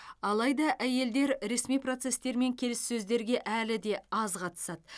алайда әйелдер ресми процестер мен келіссөздерге әлі де аз қатысады